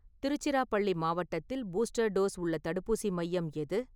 திருச்சிராப்பள்ளி மாவட்டத்தில் booster dose உள்ள தடுப்பூசி மையம் எது?